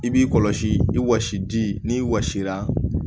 I b'i kɔlɔsi i wɔsi di n'i wɔsi la